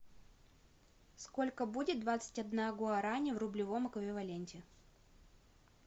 сколько будет двадцать одна гуарани в рублевом эквиваленте